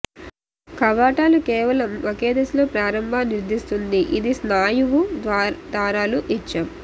కవాటాలు కేవలం ఒకే దిశలో ప్రారంభ నిర్ధారిస్తుంది ఇది స్నాయువు దారాలు ఇచ్చాం